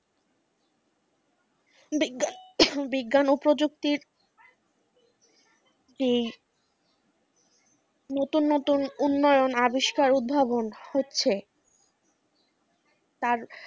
বিজ্ঞান, বিজ্ঞান ও প্রযুক্তির নতুন নতুন উন্নয়ন আবিষ্কার উদ্ভাবন হচ্ছে, তাঁর